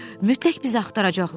Mütləq bizi axtaracaqlar.